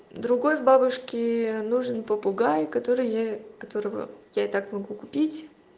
другой бабушке нужен попугай который я которого я и так могу купить